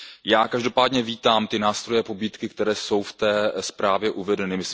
Já každopádně vítám ty nástroje, pobídky, které jsou v té zprávě uvedeny.